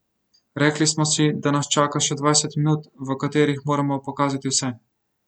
Rekli smo si, da nas čaka še dvajset minut, v katerih moramo pokazati vse.